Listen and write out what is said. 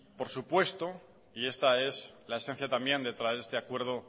por supuesto esta es la esencia también de traer este acuerdo